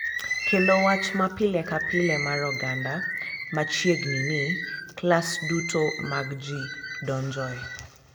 Kendo wach ma pile ka pile mar oganda ma chiegni ni klas duto mag ji donjoe.